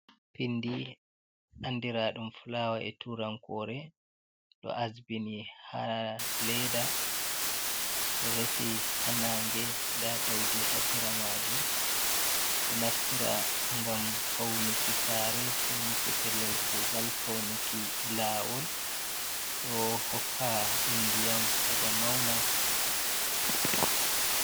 Pindi andira ɗum flawa e turankore ɗo asbini ha leda, ɗo resi ha nange nda ɗaudi ha sera majum, ɗo naftira ngam faunuki sare, faunuki pellel kugal, faunuki lawol, ɗo hokka ɗum ndiyam heɓa mauna.